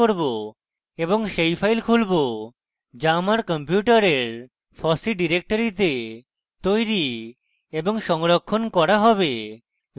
এবং সেই file খুলবো যা আমার কম্পিউটারের fossee ডিরেক্টরিতে তৈরী এবং সংরক্ষণ করা হবে